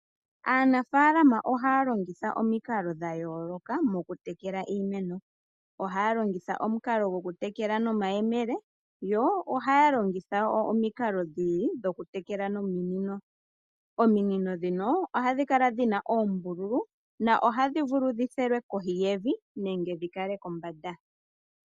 Aanafalama ohaya longitha omikalo dhayooloka okutekela iimeno. Ohaya longitha omukalo gwokutekela nomayemele yo ohaya longitha omikalo dhokutekela nominino. Ominino ndhino ohadhi kala dhina oombululu nohadhi vulu dhi fulilwe kohi yevi nenge dhi kale kombanda.